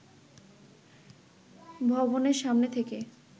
ভবনের সামনে থেকে